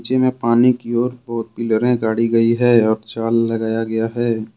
नदी में पानी की ओर पिलरे गाड़ी गई है और जाल लगाया गया है।